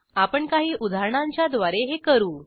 आपण काही उदाहरणांच्याद्वारे हे करू